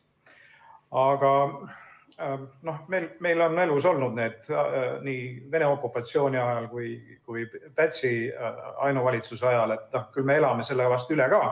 Aga meil on elus olnud seda nii Vene okupatsiooni kui ka Pätsi ainuvalitsuse ajal, küll elame nüüdki üle.